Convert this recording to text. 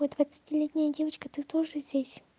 я двадцатилетняя девочка ты тоже здесь